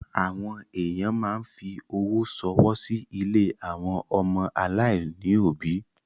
Àwọn èyàn máa ń fi owó ṣọwọ́ sí ilé àwọn ọmọ aláìní òbí.